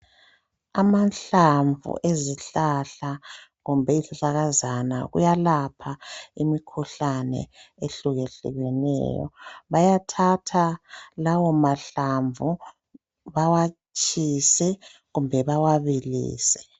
Amahlamvu ezihlahla kumbe izihlahlakazana uyalapha imikhuhlane ehlukehlukeneyo. Bayathatha lawo mahlamvu bawatshise kumbe bawabilise.